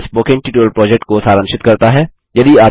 यह spoken tutorial project को सारांशित करता है